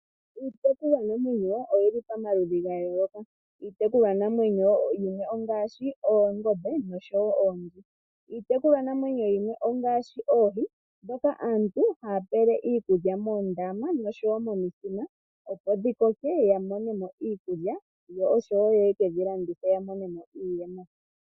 Iitekulwa namwenyo oyili pamaludhi gayoloka ngaashi oongombe, nosho woo oonzi. Iitekulwa namwenyo yimwe ongaashi oohi ndhoka aantu haye dhipele iikulya moondama nomithima dhivule okukoka yo yamonemo iikulya noye kedhilandithepo yavule yiimonenemo iiyemo.